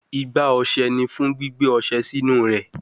Igbá ọṣẹ ni fun gbigbe ọṣẹ sinu rẹ